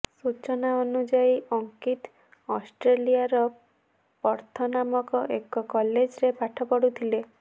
ସୂଚନା ଅନୁଯାୟୀ ଅଙ୍କିତ ଅଷ୍ଟ୍ରେଲିଆର ପର୍ଥ ନାମକ ଏକ କଲେଜରେ ପାଠ ପଢୁଥିଲେ